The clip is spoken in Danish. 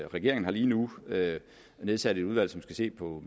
regeringen har lige nu nedsat et udvalg som skal se på